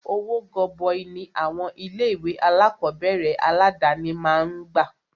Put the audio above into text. Owó gọbọi ní àwọn ilé ìwé alákọ̀berẹ̀ aládàni máà ń gbà.